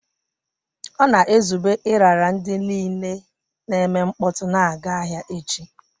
Ọ na-ezube ịrara ndị niile na-eme mkpọtụ na-aga ahịa echi.